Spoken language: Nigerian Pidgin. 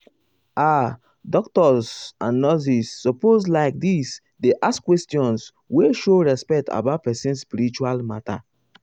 ah ah doctors doctors and nurses suppose like this dey ask questions wey show respect about person spiritual matter.